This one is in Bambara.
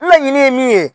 Laɲini ye min ye